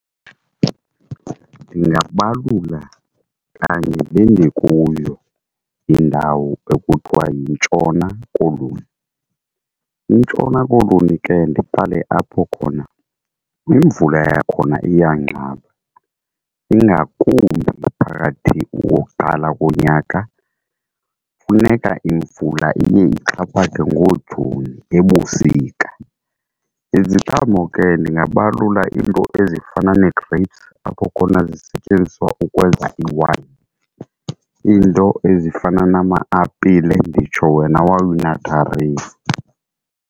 Ndingabalula kanye le ndikuyo indawo ekuthiwa yiNtshona Koloni. INtshona Koloni ke ndiqale apho khona, imvula yakhona iyanqaba ingakumbi phakathi wokuqala konyaka funeka imvula iye ixhaphake ngoJuni ebusika. Iziqhamo ke ndingabalula iinto ezifana nee-grapes apho khona zisetyenziswa ukwenza ii-wayini, iinto ezifana nama-apile nditsho wena wawuyi natharini.